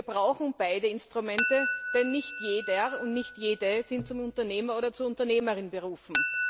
Wir brauchen beide Instrumente, denn nicht jeder und nicht jede sind zum Unternehmer oder zur Unternehmerin berufen.